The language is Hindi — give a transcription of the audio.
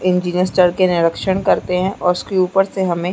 इंजीनियर्स चढ़ के निरीक्षण करते है और उसके ऊपर से हमें --